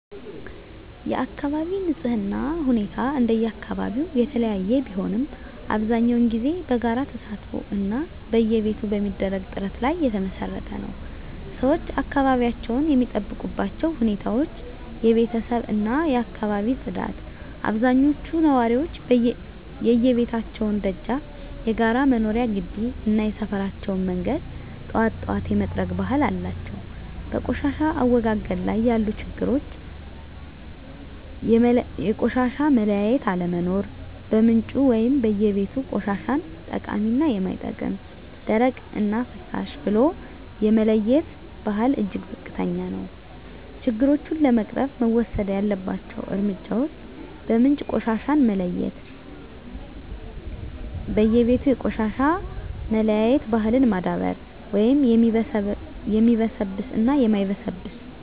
የአካባቢ ንፅህና ሁኔታ እንደየአካባቢው የተለያየ ቢሆንም፣ አብዛኛውን ጊዜ በጋራ ተሳትፎ እና በየቤቱ በሚደረግ ጥረት ላይ የተመሰረተ ነው። -ሰዎች አካባቢያቸውን የሚጠብቁባቸው ሁኔታዎች -የቤተሰብ እና የአካባቢ ፅዳት አብዛኞቹ ነዋሪዎች የየቤታቸውን ደጃፍ፣ የጋራ መኖሪያ ግቢ እና የሰፈራቸውን መንገድ ጠዋት ጠዋት የመጥረግ ባህል አላቸው። -በቆሻሻ አወጋገድ ላይ ያሉ ችግሮች -የቆሻሻ መለያየት አለመኖር በምንጩ (በየቤቱ) ቆሻሻን ጠቃሚ እና የማይጠቅም፣ ደረቅ እና ፍሳሽ ብሎ የመለየት ባህል እጅግ ዝቅተኛ ነው። -ችግሮቹን ለመቅረፍ መወሰድ ያለባቸው እርምጃዎች -በምንጭ ቆሻሻን መለየት በየቤቱ የቆሻሻ መለያየት ባህልን ማዳበር (የሚበሰብስ እና የማይበሰብስ)።